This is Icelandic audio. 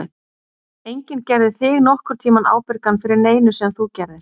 Enginn gerði þig nokkurn tímann ábyrgan fyrir neinu sem þú gerðir.